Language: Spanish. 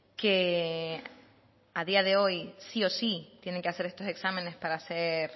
que a día de hoy sí o sí tienen que hacer estos exámenes para hacer